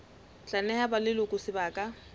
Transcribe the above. tla neha ba leloko sebaka